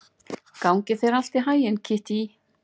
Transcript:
Gangi þér allt í haginn, Kittý.